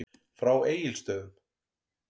Frá Egilsstöðum.